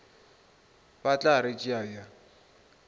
ba tla re tšea bjang